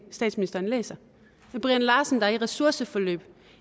statsministeren læser brian larsen er i ressourceforløb